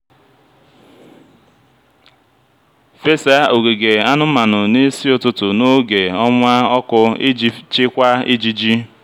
fesa ogige anụmanụ n'isi ụtụtụ n'oge ọnwa ọkụ iji chịkwaa ijiji.